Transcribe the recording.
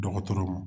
Dɔgɔtɔrɔ ma